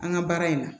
An ka baara in na